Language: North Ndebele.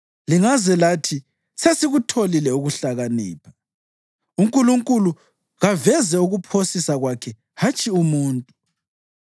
Lingaze lathi, ‘Sesikutholile ukuhlakanipha; uNkulunkulu kaveze ukuphosisa kwakhe, hatshi umuntu.’